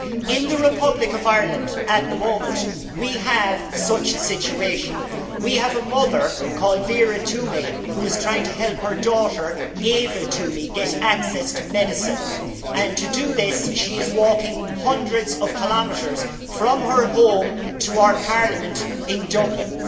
In the Republic of Ireland, at the moment, we have such a situation we have a mother called Vera Twomey who is trying to help her daughter Ava Twomey get access to medicine, and to do this she is walking hundreds of kilometres from her home to our parliament in Dublin.